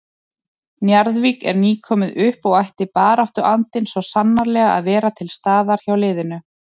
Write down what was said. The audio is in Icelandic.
Njarðvík er nýkomið upp og ætti baráttuandinn svo sannarlega að vera til staðar hjá liðinu.